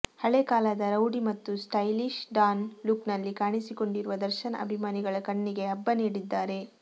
ಹಳೆ ಕಾಲದ ರೌಡಿ ಮತ್ತು ಸ್ಟೈಲಿಶ್ ಡಾನ್ ಲುಕ್ನಲ್ಲಿ ಕಾಣಿಸಿಕೊಂಡಿರುವ ದರ್ಶನ್ ಅಭಿಮಾನಿಗಳ ಕಣ್ಣಿಗೆ ಹಬ್ಬ ನೀಡಿದ್ದಾರೆ